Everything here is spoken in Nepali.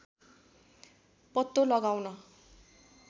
पत्तो लगाउन